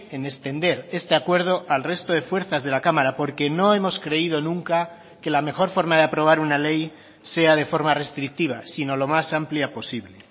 en extender este acuerdo al resto de fuerzas de la cámara porque no hemos creído nunca que la mejor forma de aprobar una ley sea de forma restrictiva sino lo más amplia posible